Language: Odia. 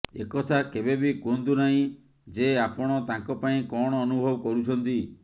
ଏକଥା କେବେ ବି କୁହନ୍ତୁ ନାହିଁ ଯେ ଆପଣ ତାଙ୍କ ପାଇଁ କଣ ଅନୁଭବ କରୁଛନ୍ତି